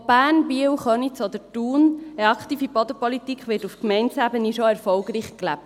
Ob Bern, Biel, Köniz oder Thun: Eine aktive Bodenpolitik wird auf Gemeindeebene schon erfolgreich gelebt.